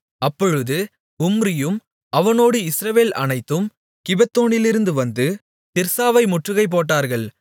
அப்பொழுது உம்ரியும் அவனோடு இஸ்ரவேல் அனைத்தும் கிபெத்தோனிலிருந்து வந்து திர்சாவை முற்றுகை போட்டார்கள்